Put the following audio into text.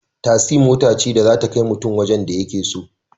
Tasi mota ce da zata kai kutun wajen da yake so